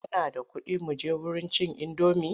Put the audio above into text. Kana da kuɗi muje wurin cin indomi?